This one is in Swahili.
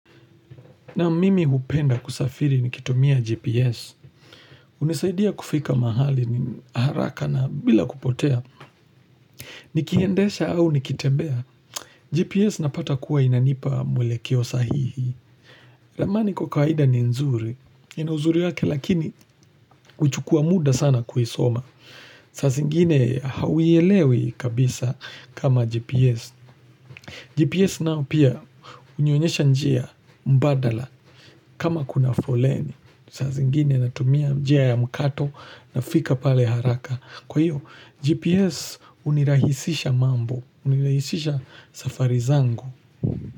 Naam mimi hupenda kusafiri nikitumia GPS. Hunisaidia kufika mahali mimi haraka na bila kupotea. Nikiendesha au nikitembea. GPS napata kuwa inanipa mwelekeo sahihi. Ramani kwa kwaida ni nzuri. Ina uzuri wake lakini huchukua muda sana kuisoma. Saa zingine hauielewi kabisa kama GPS. GPS nao pia hunionyesha njia mbadala kama kuna foleni. Saa zingine natumia njia ya mkato na fika pale haraka kwa hiyo GPS hunirahisisha mambo hunirahisisha safari zangu.